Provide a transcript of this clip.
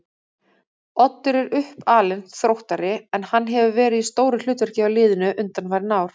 Oddur er uppalinn Þróttari en hann hefur verið í stóru hlutverki hjá liðinu undanfarin ár.